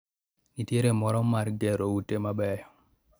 Nitiere moro mar gero ute mabeyo